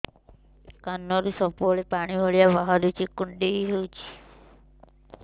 କାନରୁ ସବୁବେଳେ ପାଣି ଭଳିଆ ବାହାରୁଚି କୁଣ୍ଡେଇ ହଉଚି